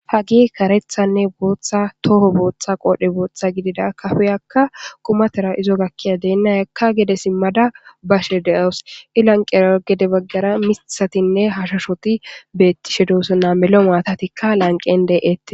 hagey karethanne booththa toho booththa qoodhe booththa gidida kafeyakka qumatera izo gakkiya deennayakka gede simmada bashe deos i lanqera gede baggara mithatinne hashushoti beettishe doosonna melo maatatikka lanqen de7eette